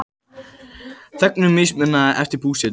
Þegnum mismunað eftir búsetu